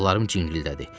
Qulaqlarım cingildədi.